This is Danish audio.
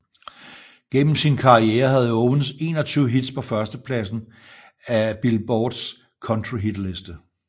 Gennem sin karriere havde Owens 21 hits på førstepladsen af Billboards Country Hitliste